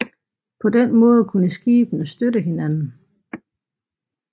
På den måde kunne skibene støtte hinanden